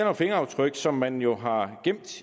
om fingeraftryk som man jo har gemt